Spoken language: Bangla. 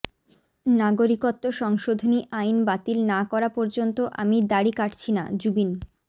নাগরিকত্ব সংশোধনী আইন বাতিল না করা পর্যন্ত আমি দাড়ি কাটছি নাঃ জুবিন